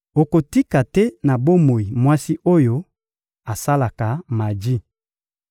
Okotika te na bomoi mwasi oyo asalaka maji.